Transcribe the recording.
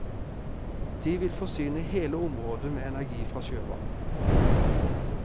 De vil forsyne hele området med energi fra sjøvann.